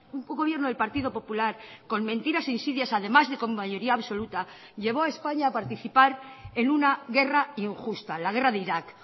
un gobierno del partido popular con mentiras e insidias además de con mayoría absoluta llevó a españa a participar en una guerra injusta la guerra de iraq